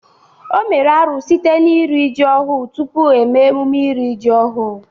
O mere árú site n'iri ji ọhu tupu eme mmemme iri ji ọhu.